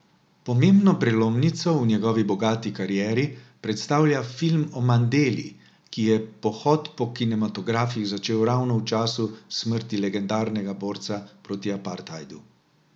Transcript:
Pomembno prelomnico v njegovi bogati karieri predstavlja film o Mandeli, ki je pohod po kinematografih začel ravno v času smrti legendarnega borca proti apartheidu.